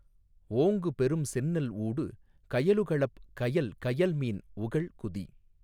ஓங்கு பெரும்செந்நெல் ஊடு கயலுகளப் கயல் கயல்மீன் உகள் குதி